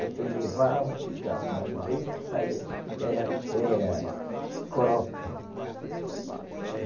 Outros levavam, ficavam, mas o leite que saía era, era coroca. Que que é isso?